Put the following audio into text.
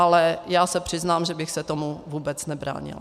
Ale já se přiznám, že bych se tomu vůbec nebránila.